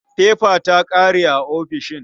Fefa ta ƙare a ofishin.